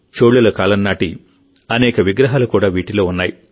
చోళుల కాలం నాటి అనేక విగ్రహాలు కూడా వీటిలో ఉన్నాయి